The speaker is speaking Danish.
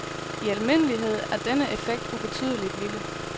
I almindelighed er denne effekt ubetydeligt lille.